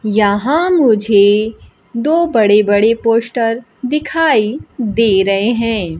यहां मुझे दो बड़े बड़े पोस्टर दिखाई दे रहे हैं।